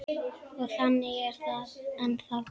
Og þannig er það ennþá.